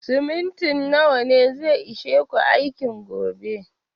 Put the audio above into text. Siminti nawa ne zai ishe ku aikin gobe?